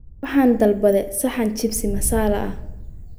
Waxaan dalbaday saxan jibsi masala ah